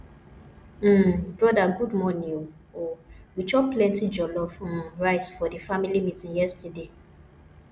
um broda good morning o o we chop plenty jollof um rice for di family meeting yesterday